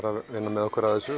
að vinna með okkur að þessu